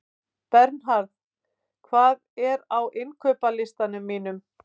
Bernharð, hvað er á innkaupalistanum mínum?